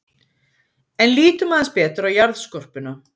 En lítum aðeins betur á jarðskorpuna.